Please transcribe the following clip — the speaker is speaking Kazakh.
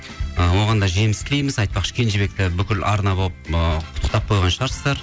ы оған да жеміс тілейміз айтпақшы кенжебекті бүкіл арна болып ыыы құттықтап қойған шығарсыздар